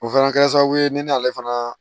O fana kɛra sababu ye ne n'ale fana